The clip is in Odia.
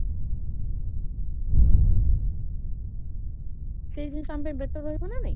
ସେଇ ଜିନିଷ ଆମ ପାଇଁ better ରହିବ ନା ନାହିଁ?